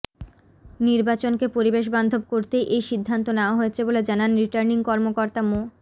নির্বাচনকে পরিবেশবান্ধব করতেই এ সিদ্ধান্ত নেয়া হয়েছে বলে জানান রিটার্নিং কর্মকর্তা মো